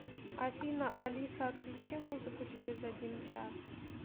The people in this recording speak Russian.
афина алиса отключи музыку через один час